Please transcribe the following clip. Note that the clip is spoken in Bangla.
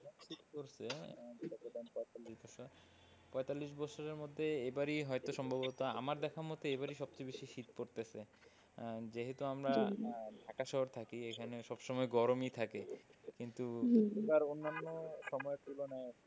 পঁয়তাল্লিশ ছরের মধ্যে এবারই হয়তো সম্ভবত আমার দেখা মতো এবারই সবচেয়ে বেশি শীত পড়তেছে আহ যেহেতু আমরা আহ ঢাকা শহরে থাকি সব সময় গরমই থাকে কিন্তু অন্যান্য সময়ের তুলনায়,